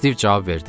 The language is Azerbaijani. Stiv cavab verdi.